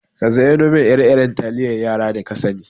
Ka zayyano min ire-iren taliyan yara da kasani.